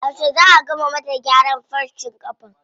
Yauce zaa a gama mata gyaran farcen ƙafan?